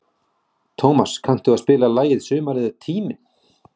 Tómas, kanntu að spila lagið „Sumarið er tíminn“?